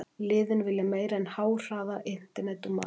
Liðin vilja meira en háhraða internet og mat.